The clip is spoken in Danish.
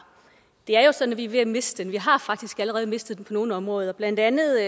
det er jo sådan at vi er ved at miste den vi har faktisk allerede mistet den på nogle områder blandt andet